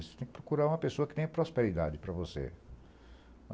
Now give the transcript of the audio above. Você tem que procurar uma pessoa que tenha prosperidade para você.